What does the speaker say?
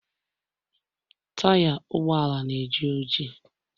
taya ụgbọala na-eji oji